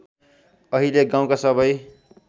अहिले गाउँका सबै